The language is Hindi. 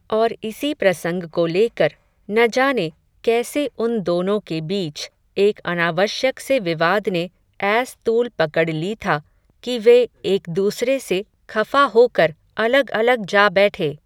और इसी प्रसंग को लेकर, न जाने, कैसे उन दोनो के बीच, एक अनावश्यक से विवाद ने, ऐस तूल पकड ली था, कि वे एक दूसरे से, खफ़ा होकर, अलग अलग जा बैठे